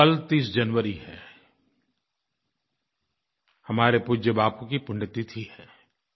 कल 30 जनवरी है हमारे पूज्य बापू की पुण्य तिथि है